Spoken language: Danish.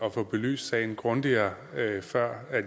at få belyst sagen grundigere før